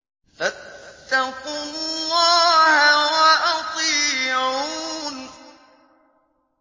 فَاتَّقُوا اللَّهَ وَأَطِيعُونِ